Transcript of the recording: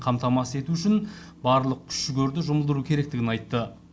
қамтамасыз ету үшін барлық күш жігерді жұмылдыру керектігін айтты